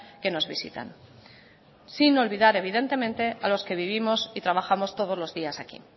que nos visitan sin olvidar evidentemente a los que vivimos y trabajamos todos los días aquí